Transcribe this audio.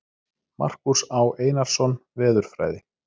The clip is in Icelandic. Markús Á. Einarsson, Veðurfræði.